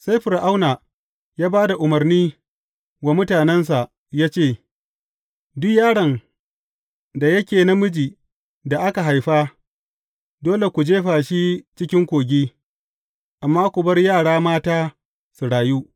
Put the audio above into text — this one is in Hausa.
Sai Fir’auna ya ba da umarni wa mutanensa ya ce, Duk yaron da yake namijin da haka haifa, dole ku jefa shi cikin kogi, amma ku bar yara mata su rayu.